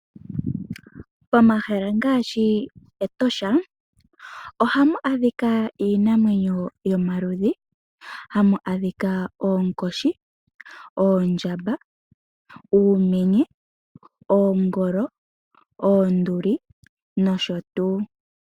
Omahala ngaashi Etosha, ohamu adhika iinamwenyo yomaludhi, hamu adhika Oonkoshi, Oondjamba, Uumenye , Oongolo, Oonduli noshotuu.